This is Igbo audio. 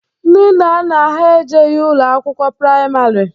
Ndị nna nna ha ejeghi ụlọ akwụkwọ praịmarị.